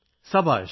സബാഷ്